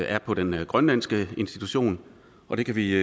er på den grønlandske institution det kan vi